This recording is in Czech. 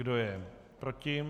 Kdo je proti?